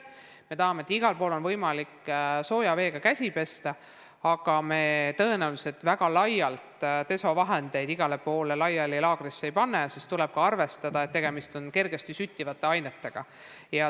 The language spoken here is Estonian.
Me tahame, et igal pool oleks võimalik sooja veega käsi pesta, aga tõenäoliselt väga laialt desovahendeid igale poole laagrites ei panda, sest tuleb ka arvestada, et tegemist on kergesti süttivate ainetega.